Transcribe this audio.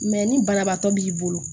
ni banabaatɔ b'i bolo